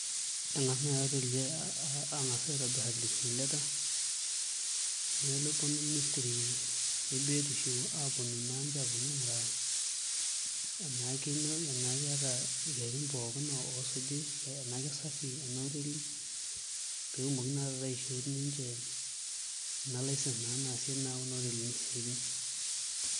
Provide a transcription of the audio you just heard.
Eng'as naai oteli ang'as aitobirr application letter neponu ministry e biotisho aaponu naa ninche aaponu aing'uraa enaa keetai irkererin pooki oosuji enaa kesafi ena oteli pee etumoki naa taata aishooi ninche ena license naa naasie kuna oteli isiaitin.